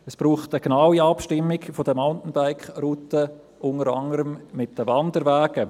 Es braucht eine genaue Abstimmung der Mountainbike-Routen unter anderem mit den Wanderwegen.